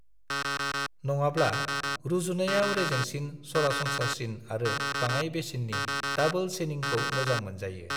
नङाब्ला, रुजुनायाव रेजेंसिन, सरासनस्रासिन आरो बाङाय बेसेननि दाबोल चेनिंखौ मोजां मोनजायो।